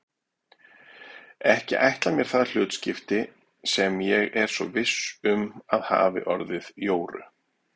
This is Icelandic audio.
Ekki ætla mér það hlutskipti sem ég er svo viss um að hafi orðið Jóru.